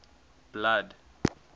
blood